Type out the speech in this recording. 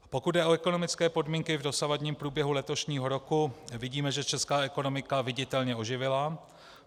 Pokud jde o ekonomické podmínky v dosavadním průběhu letošního roku, vidíme, že česká ekonomika viditelně oživila.